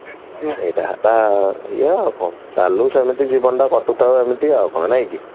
ସେଇଟା ହେଲା ଇଏ ଆଉ କଣ ଚାଲୁ ସେମିତି ଜୀବନ ଟା କାଟୁଥାଅ ଏମିତି ଆଉ କଣ